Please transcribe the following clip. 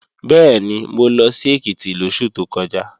Bẹ́ẹ̀ni, mo lọ sí Èkìtì lóṣù tó kọjá